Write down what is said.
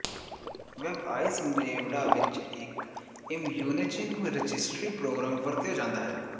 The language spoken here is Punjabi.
ਵੈਬਆਈਜ਼ ਨੇਵਾਡਾ ਵਿਚ ਇਕ ਇਮਯੂਨਿਜ਼ਿੰਗ ਰਜਿਸਟਰੀ ਪ੍ਰੋਗ੍ਰਾਮ ਵਰਤਿਆ ਜਾਂਦਾ ਹੈ